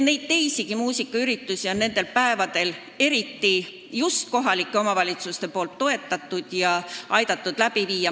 Ja teisigi muusikaüritusi on kohalikud omavalitsused nendel päevadel toetanud ja aidanud läbi viia.